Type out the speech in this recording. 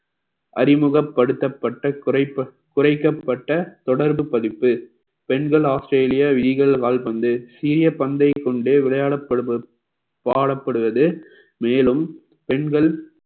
அறிமுகப்படுத்தப்பட்ட குறைக்கப்~ குறைக்கப்பட்ட தொடர்பு பதிப்பு பெண்கள் ஆஸ்திரேலியா legal கால்பந்து சிறிய பந்தைக் கொண்டு விளையாடப்படுவது வாழப்படுவது மேலும் பெண்கள்